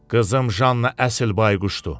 Qızım Janna əsl bayquşdur.